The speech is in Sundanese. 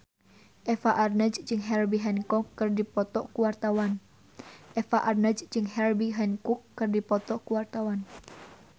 Eva Arnaz jeung Herbie Hancock keur dipoto ku wartawan